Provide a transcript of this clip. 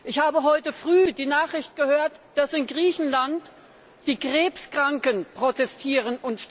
Ich habe heute früh die Nachricht gehört, dass in Griechenland die Krebskranken protestieren.